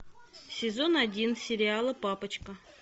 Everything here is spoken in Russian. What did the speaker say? сезон один сериала папочка